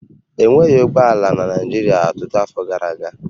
E nweghị ụgbọ ala na Naịjirịa ọtụtụ afọ gara aga